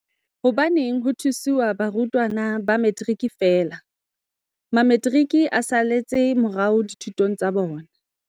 Hobaneng ho thusiwa barutwana ba Metiriki feela? Mametiriki a saletse morao dithutong tsa bona.